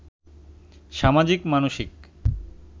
সামাজিক, মানসিক